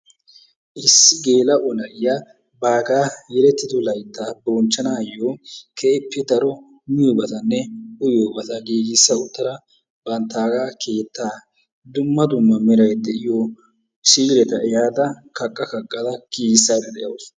Issi gelao na'iyaa baggaa yelettidi laytta bonchchanayo keehippe daro miyoyobatane uyiyobata gigisa uttada bantta keettaa dumma dumma meray de'iyo si'ileta ehada kaqqa kaqqa ehada gigisayda deawusu.